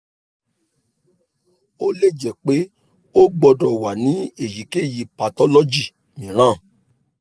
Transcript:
o le jẹ pe o gbọdọ wa ni eyikeyi pathology miiran